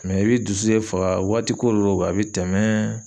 i b'i dusu de faga waati ko de a bɛ tɛmɛn.